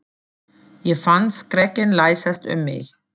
Ég fann skrekkinn læsast um mig.